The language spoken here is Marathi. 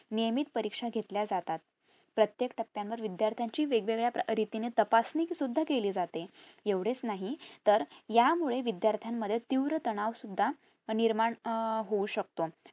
नियमित परीक्षा घेतल्या जातात प्रत्येक टप्प्यांवर विध्यार्थीची वेगवेळ्या रीतीने तपासणी सुद्धा केली जाते एवढेच नाही तर यामुळे विद्यार्था मध्ये तीव्र तणाव सुद्धा निर्माण अं होऊ शकतो